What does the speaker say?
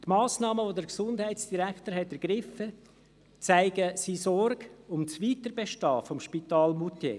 Die Massnahmen, die der Gesundheitsdirektor ergriffen hat, zeigen seine Sorge um das Weiterbestehen des Spitals in Moutier.